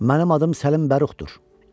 Mənim adım Səlim Bəruxdur.